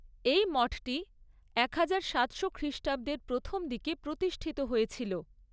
এই মঠটি একহাজার সাতশো খ্রিষ্টাব্দের প্রথম দিকে প্রতিষ্ঠিত হয়েছিল।